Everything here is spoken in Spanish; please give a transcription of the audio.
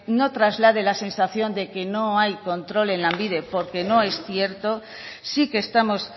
no traslade la sensación de que no hay control en lanbide porque no es cierto sí que estamos